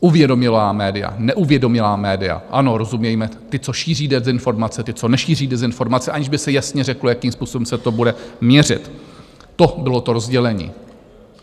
Uvědomělá média, neuvědomělá média - ano, rozumějme, ta, co šíří dezinformace, ta, co nešíří dezinformace, aniž by se jasně řeklo, jakým způsobem se to bude měřit - to bylo to rozdělení.